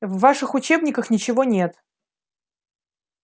в ваших учебниках ничего нет